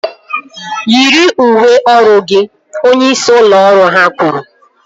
Yiri uwe ọrụ gị! Onyeisi ụlọ ọrụ ha kwuru